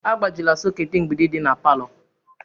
Agbajila soketi mgbidi di na palọ!